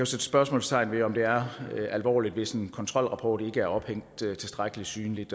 sætte spørgsmålstegn ved om det er alvorligt hvis en kontrolrapport ikke er ophængt tilstrækkelig synligt